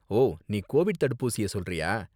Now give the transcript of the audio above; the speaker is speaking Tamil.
ஓ, நீ கோவிட் தடுப்பூசிய சொல்றியா?